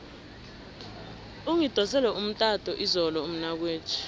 ungidosele umtato izolo umnakwethu